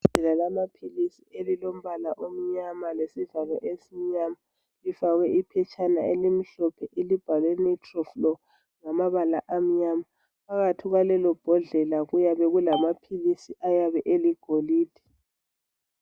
Igabha lamaphilisi elilombala omnyama lesivalo esimnyama lifakwe iphetshana elimhlophe elibhalwe nitrolflo ngamabala amnyama. Phakathi kwalelobhodlela kuyabe kulamaphilisi ayabe eligolide.